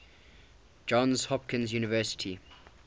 johns hopkins university